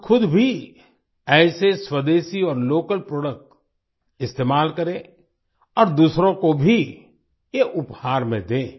हम खुद भी ऐसे स्वदेशी और लोकल प्रोडक्ट इस्तेमाल करें और दूसरों को भी ये उपहार में दें